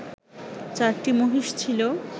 চারটি মহিষ ছিল